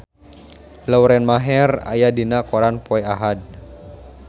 Lauren Maher aya dina koran poe Ahad